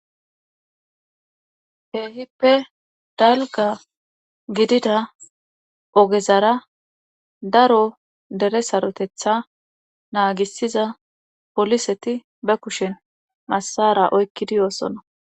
Keehippe dalga gidida ogezara daro dere sarotetha naagisiza poliseti ba kushen massara oykkidi yoossona